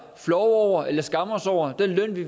flove over eller skamme os over den løn vi